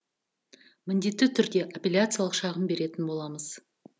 міндетті түрде аппеляциялық шағым беретін боламыз